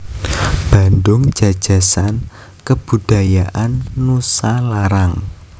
Bandung Jajasan Kebudajaan Nusalarang